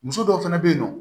Muso dɔw fana bɛ yen nɔ